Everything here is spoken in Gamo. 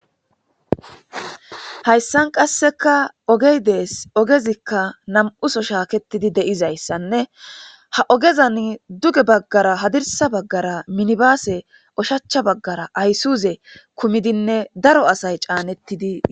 Hayisan qasika oge de,ees ogezika nam,uso shaketidi de, izayisanne ha ogezani duge bagara hadirsa bagara minibase ushacha bagara hayisuze kudinne daro asayi ca,neti